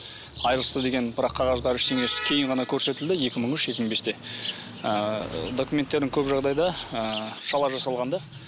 айырылысты деген бірақ қағаздары ештеңесі кейін ғана көрсетілді екі мың үш екі мың бесте ыыы документтердің көп жағдайда ыыы шала жасалған да